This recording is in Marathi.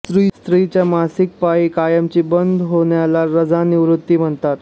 स्त्रीच्या मासिक पाळी कायमची बंद होण्याला रजोनिवृत्ती म्हणतात